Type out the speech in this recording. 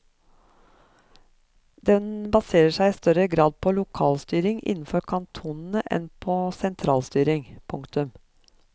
Den baserer seg i større grad på lokalstyring innenfor kantonene enn på sentralstyring. punktum